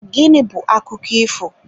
Gịnị bu akụkọ ifo?